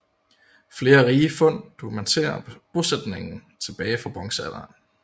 Flere rige fund dokumenterer bosætning tilbage fra bronzealderen